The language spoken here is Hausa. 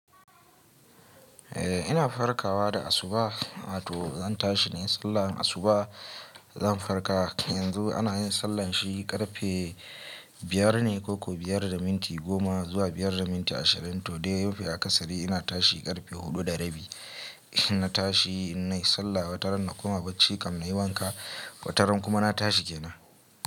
Eh ina farkawa da asuba, to zan tashi nayi sallar asuba, zan farka yanzu ana yin sallan shi ƙarfe biyar ne ko ko biyar da minti goma zuwa biyar da minti ashirin. To dai mafi akasari ina tashi ƙarfe huɗu da rabi. Ina tashi nayi sallah wataran na koma bacci kam nayi wanka wataran kuma na tashi kenan.